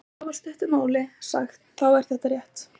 Í afar stuttu máli sagt þá er þetta rétt.